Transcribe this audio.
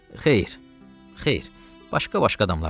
Xeyr, xeyr, başqa-başqa adamlardır.